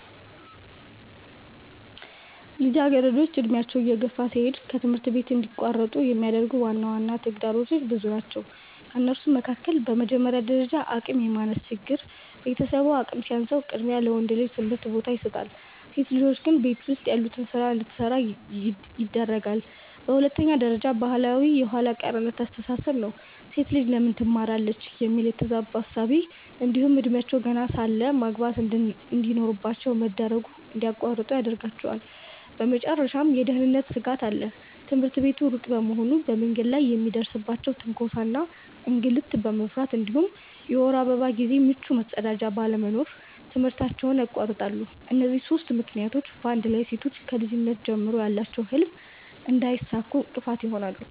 ልጃገረዶች ዕድሜያቸው እየገፋ ሲሄድ ከትምህርት እንዲቋረጡ የሚያደርጉ ዋና ተግዳሮቶች ብዙ ናቸው ከእነሱም መካከል፦ በመጀመሪያ ደረጃ አቅም የማነስ ችግር፤ ቤተሰቡ አቅም ሲያንሰው ቅድሚያ ለወንድ ልጅ ትምህርት ቦታ ይሰጣል፣ ሴት ልጆች ግን ቤት ውስጥ ያሉትን ስራ እንድትሰራ ያደርጋለየ። በሁለተኛ ደረጃ ባህላዊ የኋላ ቀርነት አስተሳሰብ ነው፤ "ሴት ልጅ ለምን ትማራለች?" የሚል የተዛባ እሳቤ እንዲሁም እድሜያቸው ገና ሳለ ማግባት እንድኖርባቸው መደረጉ እንድያቋርጡ ይዳርጋቸዋል። በመጨረሻም የደህንነት ስጋት አለ፤ ትምህርት ቤቱ ሩቅ በመሆኑ በመንገድ ላይ የሚደርስባቸውን ትንኮሳ እና እንግልት በመፍራት እንዲሁም የወር አበባ ጊዜ ምቹ መጸዳጃ ባለመኖሩ ትምህርታቸውን ያቋርጣሉ። እነዚህ ሦስቱ ምክንያቶች በአንድ ላይ ሴቶች ከልጅነት ጀምሮ ያላቸውን ህልም እንዳያሳኩ እንቅፋት ይሆናሉ።